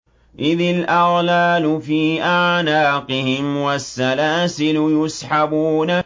إِذِ الْأَغْلَالُ فِي أَعْنَاقِهِمْ وَالسَّلَاسِلُ يُسْحَبُونَ